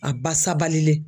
A ba sabalilen.